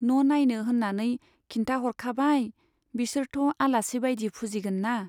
न' नाइनो होन्नानै खिन्थाह'रखाबाय , बिसोरथ' आलासि बाइदि फुजिगोनना।